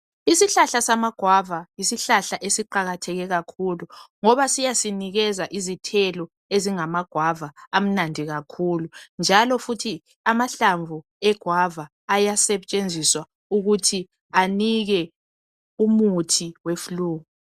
Isihlahla samagwava yisihlahla esiqakatheke kakhulu ngoba siyasinikeza izithelo ezingamagwava amnandi kakhulu njalo futhi amahlamvu egwava ayasetshenziswa ukuthi anike umuthi weflue.